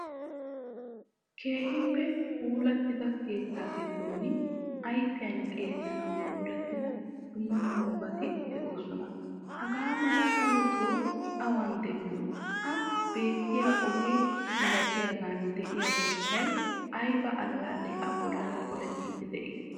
Keehippe puulattida keetta giddon ayfiyan xeellanawu puulatida dumma dummabati de'osona. Hagaa mala daroto awan demiyo? Ha beettiya oge milatiyagan de'iya borssay ayba allale a bolli polettidi dei?